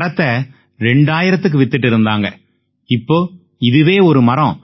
மரத்தை 2000த்துக்கு வித்திட்டு இருந்தாங்க இப்ப இதுவே ஒரு மரம்